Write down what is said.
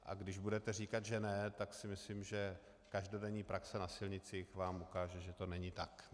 A když budete říkat, že ne, tak si myslím, že každodenní praxe na silnici vám ukáže, že to není tak.